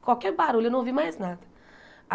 qualquer barulho, eu não ouvi mais nada.